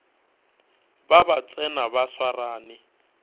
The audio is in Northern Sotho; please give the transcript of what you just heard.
ba ba tsena ba swarane